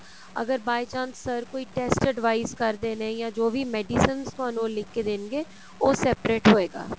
ਅਗਰ by chance sir ਕੋਈ test advice ਕਰਦੇ ਨੇ ਜਾਂ ਜੋ ਵੀ medicines ਤੁਹਾਨੂੰ ਉਹ ਲਿਖ ਕੇ ਦੇਣਗੇ ਉਹ separate ਹੋਏਗਾ